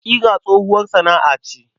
Ƙira tsohuwar sana'a ce.